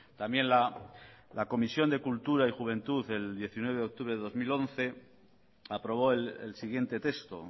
también la comisión de cultura y juventud del diecinueve de octubre de dos mil once aprobó el siguiente texto